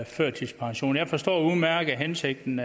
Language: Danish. førtidspension jeg forstår udmærket hensigten